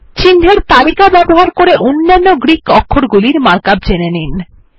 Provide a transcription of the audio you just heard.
চিন্হের তালিকা ব্যবহার করে অন্যান্য গ্রীক অক্ষরগুলির মার্ক আপ জেনে নিন